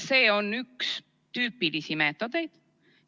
See on üks tüüpilisi meetodeid.